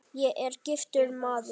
Ég er giftur maður.